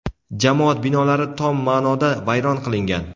jamoat binolari tom ma’noda vayron qilingan.